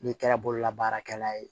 N'i kɛra bololabaarakɛla ye